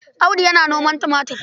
Audu yana noman tumatir.